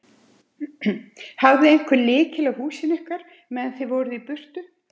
Hafði einhver lykil að húsinu ykkar meðan þið voruð í burtu?